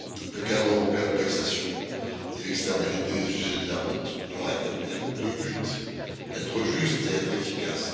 Le cadre européen de taxation des externalités et des usagers de la route doit rétablir deux buts être juste et être efficace.